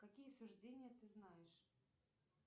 какие суждения ты знаешь